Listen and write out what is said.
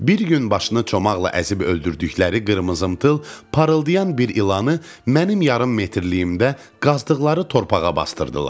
Bir gün başını çomaqla əzib öldürdükləri qırmızımtıl, parıldayan bir ilanı mənim yarım metirliyimdə qazdığı torpağa basdırdılar.